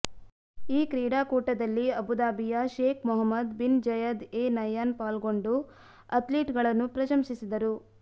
ಈ ಕ್ರೀಡಾಕೂಟದಲ್ಲಿ ಅಬುದಾಬಿಯ Sheikh Mohammed bin Zayed Al Nahyan ಪಾಲ್ಗೊಂಡು ಅಥ್ಲೀಟ್ಗಳನ್ನು ಪ್ರಶಂಸಿಸಿದರು